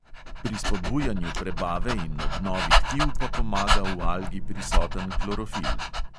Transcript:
Pri spodbujanju prebave in obnovi tkiv pa pomaga v algi prisoten klorofil.